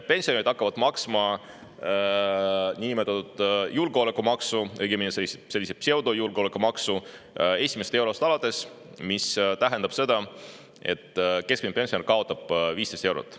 Pensionärid hakkavad maksma niinimetatud julgeolekumaksu, õigemini sellist pseudojulgeolekumaksu, esimesest eurost alates, mis tähendab seda, et keskmine pensionär kaotab 15 eurot.